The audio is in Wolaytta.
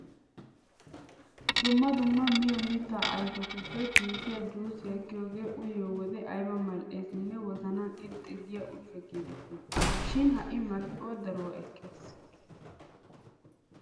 Dumma dumma miyo mittaa ayfetuppe giigiya juusiya giyogee uyiyo wode ayba mal"eesinne wozanan irxxi giya ushsha giidettii! Shin ha"i marccuwa daruwa ekkees.